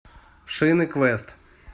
шины квест